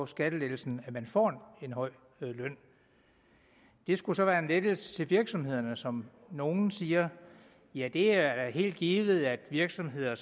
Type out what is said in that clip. skattelettelsen at man får en høj løn det skulle så være en lettelse til virksomhederne som nogle siger ja det er helt givet at virksomheder